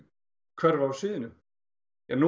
hverfa af sviðinu nú